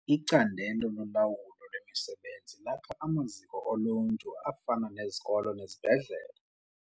Icandelo lolawulo lwemisebenzi lakha amaziko oluntu afana nezikolo nezibhedlele.